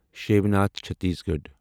Shivnath Chhattisgarh